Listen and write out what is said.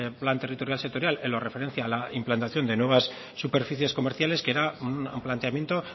plan territorial sectorial en lo referente a la implantación de nuevas superficies comerciales que era un planteamiento